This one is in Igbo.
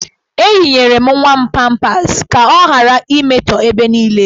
Eyinyere m nwa m pampas ya ka ọ ghara imetọ ebe niile.